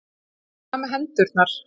Hvað með hendurnar?